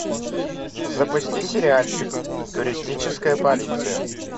запусти сериальчик туристическая полиция